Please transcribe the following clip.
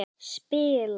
Spila í hljómsveit.